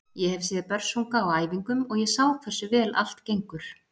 Ég hef séð Börsunga á æfingum og ég sá hversu vel allt gengur.